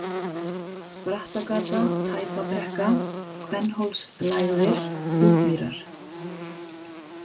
Brattagata, Tæpabrekka, Kvennhólslægðir, Útmýrar